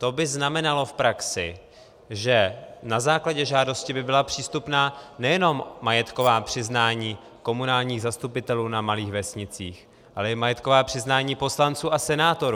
To by znamenalo v praxi, že na základě žádosti by byla přístupná nejenom majetková přiznání komunálních zastupitelů na malých vesnicích, ale i majetková přiznání poslanců a senátorů.